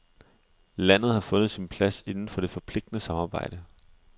Landet har fundet sin plads inden for det forpligtende samarbejde.